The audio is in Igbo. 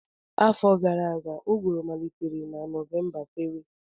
Afọ gara aga, ụgụrụ malitere na Novemba fewe